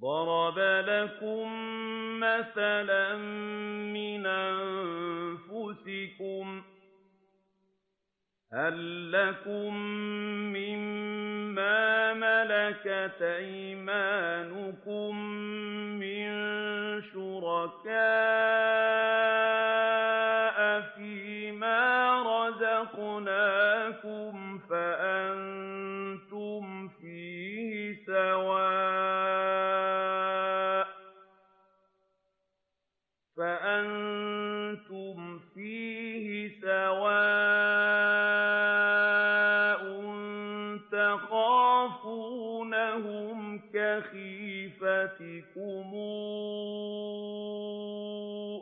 ضَرَبَ لَكُم مَّثَلًا مِّنْ أَنفُسِكُمْ ۖ هَل لَّكُم مِّن مَّا مَلَكَتْ أَيْمَانُكُم مِّن شُرَكَاءَ فِي مَا رَزَقْنَاكُمْ فَأَنتُمْ فِيهِ سَوَاءٌ تَخَافُونَهُمْ كَخِيفَتِكُمْ